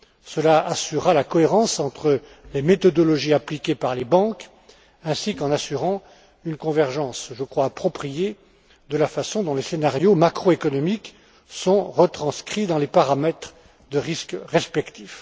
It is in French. Cela assurera la cohérence entre les méthodologies appliquées par les banques ainsi qu'une convergence, je crois appropriée, de la façon dont les scénarios macroéconomiques sont retranscrits dans les paramètres de risques respectifs.